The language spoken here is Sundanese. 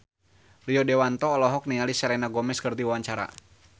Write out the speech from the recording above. Rio Dewanto olohok ningali Selena Gomez keur diwawancara